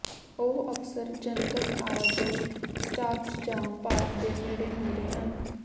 ਉਹ ਅਕਸਰ ਜਨਤਕ ਆਵਾਜਾਈ ਸਟਾਪਸ ਜਾਂ ਪਾਰਕ ਦੇ ਨੇੜੇ ਮਿਲਦੇ ਹਨ